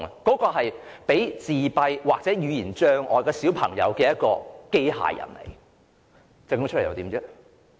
這款供患上自閉症或語言障礙的小朋友使用的機械人，設計出來又如何呢？